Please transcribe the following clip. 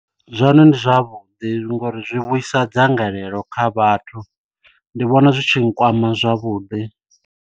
Zwone ndi zwavhuḓi ngori zwi vhuisa dzangalelo kha vhathu ndi vhona zwi tshi nkwama zwavhuḓi.